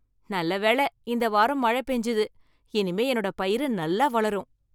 நல்ல வேள இந்த வாரம் மழை பெஞ்சது, இனிமே என்னோட பயிரு நல்லா வளரும்.